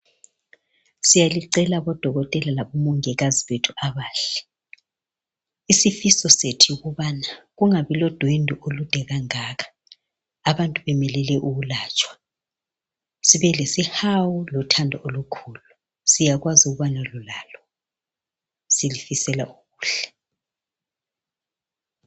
Siyalicela bodokotela labo mongikazi bethu abahle isifiso sethu yikubana kungabi lodwendwe olude kangaka abantu bemelele ukulatshwa sibelesihawu lothando olukhulu siyakwazi ukubana lulalo silifisela okuhle